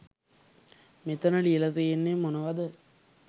මෙතන ලියල තියෙන්නෙ මොනවද?.